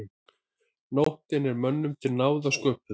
Nóttin er mönnum til náða sköpuð.